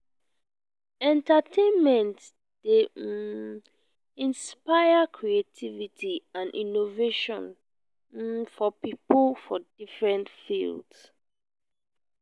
entertainment dey um inspire creativity and innovation um for pipo for different fields.